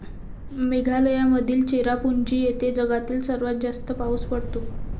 मेघालयामधील चेरापुंजी येथे जगातील सर्वात जास्त पाऊस पडतो.